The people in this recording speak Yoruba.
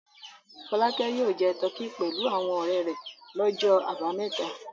Fọlákẹ́ yóò jẹ tọkí pẹ̀lú àwọn ọ̀rẹ́ rẹ̀ lọ́jọ́ àbámẹ́ta.